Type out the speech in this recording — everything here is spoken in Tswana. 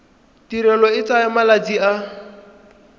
tirelo e tsaya malatsi a